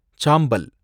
சாம்பல்